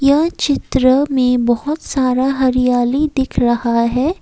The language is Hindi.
यह चित्र में बहुत सारा हरियाली दिख रहा हैं।